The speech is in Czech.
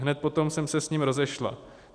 Hned potom jsem se s ním rozešla.